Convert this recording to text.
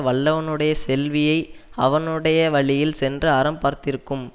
வல்லவனுடைய செல்வியை அவனுடைய வழியில் சென்று அறம் பார்த்திருக்கும்